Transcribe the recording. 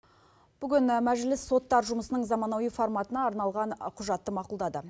бүгін мәжіліс соттар жұмысының заманауи форматына арналған құжатты мақұлдады